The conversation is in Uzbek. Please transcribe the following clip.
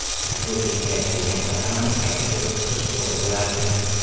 Ushbu kengaytirilgan atamani qayta ko‘rib chiqish to‘g‘ri bo‘lardi.